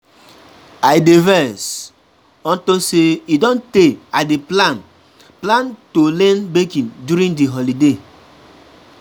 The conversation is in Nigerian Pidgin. I dey vex unto say e don tey I dey plan to learn baking during the holiday.